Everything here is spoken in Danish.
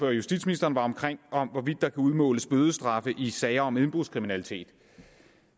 og justitsministeren var omkring om hvorvidt der kan udmåles bødestraffe i sager om indbrudskriminalitet